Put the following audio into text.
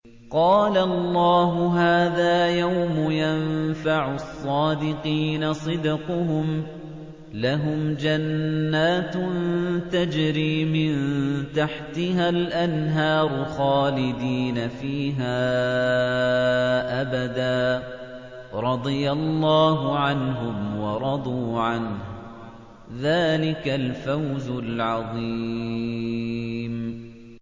قَالَ اللَّهُ هَٰذَا يَوْمُ يَنفَعُ الصَّادِقِينَ صِدْقُهُمْ ۚ لَهُمْ جَنَّاتٌ تَجْرِي مِن تَحْتِهَا الْأَنْهَارُ خَالِدِينَ فِيهَا أَبَدًا ۚ رَّضِيَ اللَّهُ عَنْهُمْ وَرَضُوا عَنْهُ ۚ ذَٰلِكَ الْفَوْزُ الْعَظِيمُ